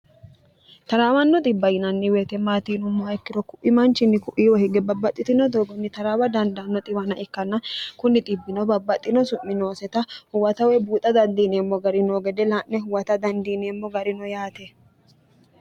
taraawanno xibba yinanni weete maati yinummo ikkiro ku'i manchinni ku'iiwo hige babbaxxitino doogonni taraawa dandaanno xiwana ikkanna kunni xbbino babbaxxino su'minooseta huwatawe buuxa dandiineemmo gari noo gede laa'ne huwata dandiineemmo garino yaate